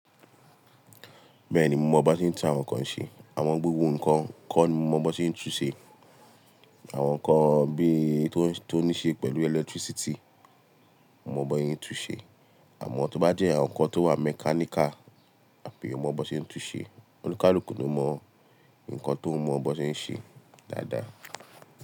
Bẹ́ẹ̀ni, mo mọ bi won se tún àwọn nǹkan ṣe. Amo, gbogbo nǹkan kọ́ ni mo mọ bi won ṣé ń tún ṣe. Àwọn nǹkan bí i tó níí ṣe pẹ̀lú electricity, mo mọ bi won se tún ṣe. Àmọ́ tó bá jẹ́ àwọn nǹkan tó wà mechanical àbí mi o mọ bi won ṣé ń tún ṣe. Oni kaluku lo mo Ǹkan tó mọ bo n ṣé ń ṣe dáadáa.